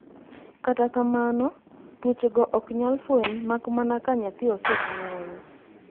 kata kamano, tuochego ok nyal fweny mak mana ka nyathi osenyuol